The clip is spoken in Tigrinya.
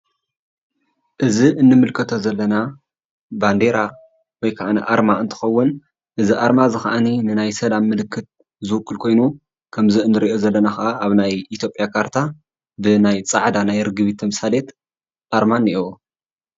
እዚ እንምልከቶ ዘለና ባንዴራ ወይ ካዓ አርማ እንትኸውን እዚ አርማ ድማ ንሰላም ምልክት ዝውክል ኮይኑ ከም እንሪኦ ዘለና ካዓ ኣብ ናይ ኢ\ያ ካርታ ብናይ ፃዕዳ ርግቢት ተምሳሌት አርማ እኒኤዎ፡፡